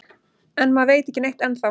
En maður veit ekki neitt ennþá